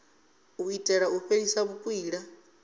u itela u fhelisa vhukwila